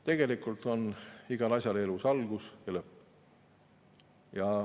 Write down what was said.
Tegelikult on igal asjal elus algus ja lõpp.